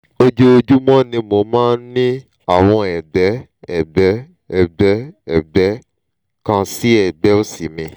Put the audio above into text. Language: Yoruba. ojoojúmọ́ ni mo máa ń ní àwọn ẹ̀gbẹ́ ẹ̀gbẹ́ ẹ̀gbẹ́ ẹ̀gbẹ́ kan sí ẹ̀gbẹ́ òsì mi